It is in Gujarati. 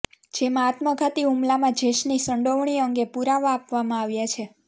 જેમાં આત્મઘાતી હુમલામાં જેશની સંડોવણી અંગે પુરાવા આપવામાં આવ્યા છે